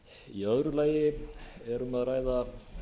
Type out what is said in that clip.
í öðru lagi er um að ræða